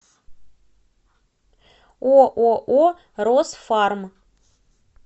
ооо росфарм